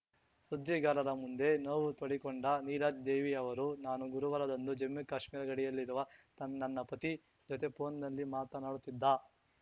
ಸುದ್ದಿಗಾರರ ಮುಂದೆ ನೋವು ತೋಡಿಕೊಂಡ ನೀರಜ್‌ ದೇವಿ ಅವರು ನಾನು ಗುರುವಾರದಂದು ಜಮ್ಮುಕಾಶ್ಮೀರ ಗಡಿಯಲ್ಲಿರುವ ನನ್ನ ಪತಿ ಜೊತೆ ಫೋನ್‌ನಲ್ಲಿ ಮಾತನಾಡುತ್ತಿದ್ದ